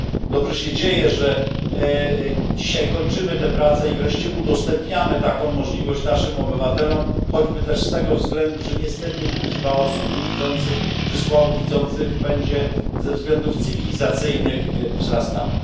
Dobrze się dzieje, że dzisiaj kończymy tę pracę i wreszcie udostępniamy taką możliwość naszym obywatelom, choćby też z tego względu, że niestety liczba osób niewidzących czy słabowidzących będzie ze względów cywilizacyjnych wzrastała.